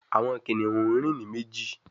Àwọn kìnìún rìn ní méjì